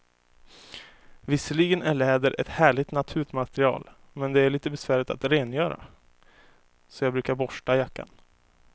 Visserligen är läder ett härligt naturmaterial, men det är lite besvärligt att rengöra, så jag brukar borsta jackan.